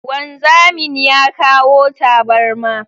Wanzamin ya kawo tabarma